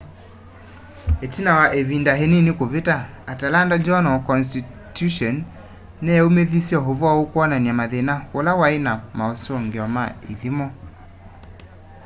itina wa ivinda inini kuvita atlanta journal-constitution niyaumithisye uvoo ukwonania mathina ula wai na mausungio ma ithimo